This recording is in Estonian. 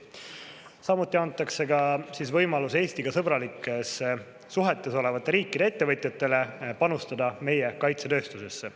Samuti antakse võimalus Eestiga sõbralikes suhetes olevate riikide ettevõtjatel panustada meie kaitsetööstusesse.